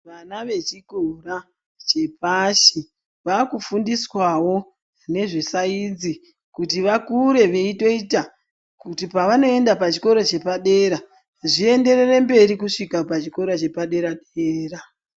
Vana vechikora chepashi vakufundiswawo ngezvesayinzi kuti vakure veyitoita kuti pavanoenda pachikoro chepadera zvienderere mberi kusvika pachikora chepa dera dera.